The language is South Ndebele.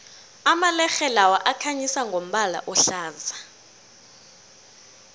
amalerhe lawa akhanyisa ngombala ohlaza